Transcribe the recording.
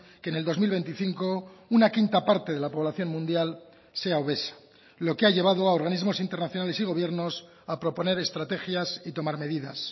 que en el dos mil veinticinco una quinta parte de la población mundial sea obesa lo que ha llevado a organismos internacionales y gobiernos a proponer estrategias y tomar medidas